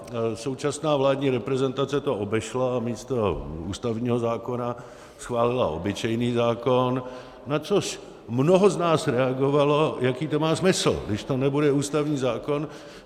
Současná vládní reprezentace to obešla a místo ústavního zákona schválila obyčejný zákon, na což mnoho z nás reagovalo: jaký to má smysl, když to nebude ústavní zákon?